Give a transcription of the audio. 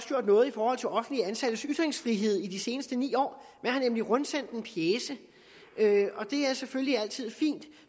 gjort noget i forhold til offentligt ansattes ytringsfrihed i de seneste ni år man har nemlig rundsendt en pjece og det er selvfølgelig altid fint